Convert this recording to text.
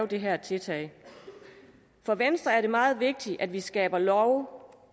det her tiltag for venstre er det meget vigtigt at vi skaber love